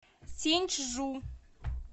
синьчжу